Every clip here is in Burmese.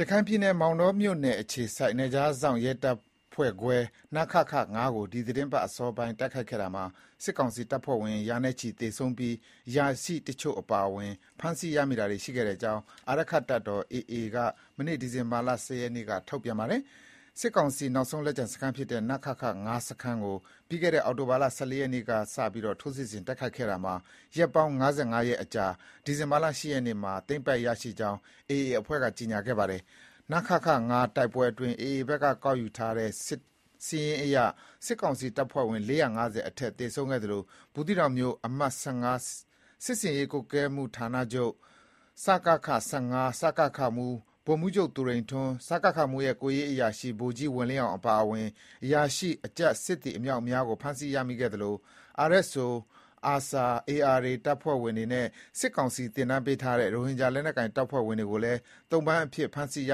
ရခိုင်ပြည်နယ် မောင်တောမြို့နယ်အခြေစိုက် နယ်ခြားစောင့် ရဲတပ်ဖွဲ့ခွဲ နခခ-၅ ကို ဒီသီတင်းပတ် အစောပိုင်း တိုက်ခိုက်ခဲ့ရာမှာ စစ်ကောင်စီတပ်ဖွဲ့ဝင် ရာနဲ့ချီသေဆုံးပြီး အရာရှိတချို့ အပါအဝင် ဖမ်းဆီးရမိတာတွေ ရှိခဲ့ကြောင်း အာရက္ခတပ်တော် AA ဘက်က ဒီဇင်ဘာလ ၁၀ ရက်နေ့က ထုတ်ပြန်လိုက်ပါတယ်။ စစ်ကောင်စီ နောက်ဆုံးလက်ကျန်စခန်းဖြစ်တဲ့ နခခ-၅ စခန်းကို ပြီးခဲ့တဲ့ အောက်တိုဘာလ (၁၄) ရက်နေ့ကစ ထိုးစစ်ဆင်တိုက်ခိုက်ခဲ့တာမှာ ရက်ပေါင်း (၅၅) ရက်အကြာ ဒီဇင်ဘာလ ၈ ရက်နေ့မှာ သိမ်းပိုက်ရရှိခဲ့ကြောင်း AA အဖွဲ့က ကြေညာခဲ့ပါတယ်။ နခခ-၅ တိုက်ပွဲအတွင်း AA ဘက်က ကောက်ယူထားတဲ့ စာရင်းအရ စစ်ကောင်စီ တပ်ဖွဲ့ဝင် (၄၅၀) အထက် သေဆုံးခဲ့သလို ဘူးသီးတောင်မြို့၊ အမှတ် (၁၅) စစ်ဆင်ရေးကွပ်ကဲမှုဌာနချုပ် (စကခ-၁၅) စကခမှူး ဗိုလ်မှူးချုပ်သူရိန်ထွန်း၊ စကခမှူးရဲ့ ကိုယ်ရေးအရာရှိ ဗိုလ်ကြီးဝေလင်းအောင်အပါအဝင် အရာရှိ၊ အကြပ်၊ စစ်သည်အမြောက်အမြားကို ဖမ်းဆီးရမိခဲ့သလို RSO၊ ARSA၊ ARA တပ်ဖွဲ့ဝင်တွေနဲ့ စစ်ကောင်စီ သင်တန်းပေးထားတဲ့ ရိုဟင်ဂျာလက်နက်ကိုင်တပ်ဖွဲ့ဝင်တွေကိုလည်း သုံ့ပန်းအဖြစ် ဖမ်းဆီးရ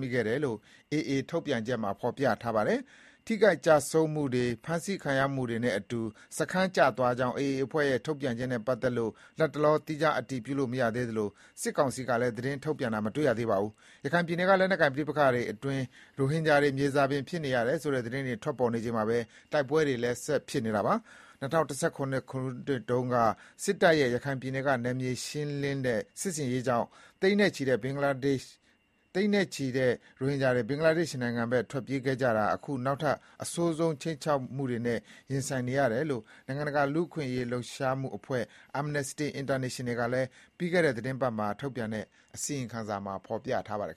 မိခဲ့တယ်လို့ AA ရဲ့ ထုတ်ပြန်ချက်မှာ ဖော်ပြထားပါတယ်။ ထိခိုက်ကျဆုံးမှုတွေ၊ ဖမ်းဆီးခံရမှုတွေနဲ့အတူ စခန်းကျသွားကြောင်း AA အဖွဲ့ရဲ့ ထုတ်ပြန်ချက်နဲ့ ပတ်သက်လို့ လတ်တလော သီးခြားအတည်ပြုလို့ မရသေးသလို စစ်ကောင်စီကလည်း သတင်းထုတ်ပြန်တာတော့ မတွေ့ရသေးပါဘူး။ ရခိုင်ပြည်နယ်က လက်နက်ကိုင် ပဋိပက္ခတွေအတွင်း ရိုဟင်ဂျာတွေ မြေဇာပင်ဖြစ်နေရတယ်ဆိုတဲ့ သတင်းတွေ ထွက်ပေါ်နေချိန်မှာပဲ တိုက်ပွဲတွေလည်း ဆက်ဖြစ်နေတာပါ။ ၂၀၁၇ ခုနှစ်တုန်းက စစ်တပ်ရဲ့ ရခိုင်ပြည်နယ်က နယ်မြေရှင်းလင်းတဲ့ စစ်ဆင်ရေးကြောင့် သိန်းနဲ့ချီ ဘင်္ဂလားဒေ့ရှ်နိုင်ငံထွက်ပြေးခဲ့ကြရတဲ့ ရိုဟင်ဂျာတွေဟာ အခုနောက်ထပ် အဆိုးဆုံး ခြိမ်းခြောက်မှုတွေနဲ့ ရင်ဆိုင်နေရတယ်လို့ နိုင်ငံတကာ လူ့အခွင့်အရေး လှုပ်ရှားမှုအဖွဲ့ Amnesty International ကလည်း ပြီးခဲ့တဲ့ သီတင်းပတ်မှာ ထုတ်ပြန်ခဲ့တဲ့ အစီရင်ခံစာမှာ ဖော်ပြခဲ့ပါတယ်